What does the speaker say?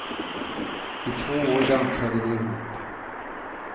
I två år dansade de ihop.